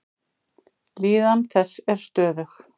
Líðan þess er stöðug.